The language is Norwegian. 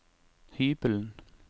hybelen